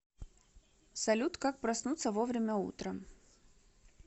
салют как проснуться вовремя утром